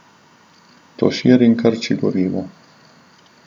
To širi in krči gorivo.